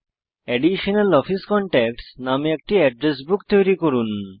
address office contacts নাম একটি নতুন এড্রেস বুক তৈরি করুন